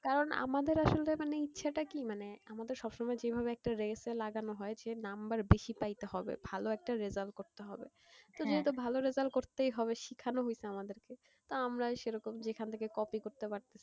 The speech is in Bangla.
কারণ আমাদের আসলে মানে ইচ্ছটা কি মানে আমাদের সবসময় যেভাবে একটা race এ লাগানো হয়েছে number বেশি পাইতে হবে ভালো একটা result করতে হবে, তো যেহেতু ভালো result করতেই হবে শিখানো হয়েছে আমাদেরকে তা আমরাও সেরকম যেখান থেকে copy করতে পারতাছি,